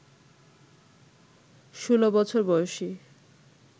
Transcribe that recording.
ষোলো বছর বয়সী